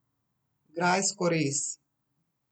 Grajsko rez.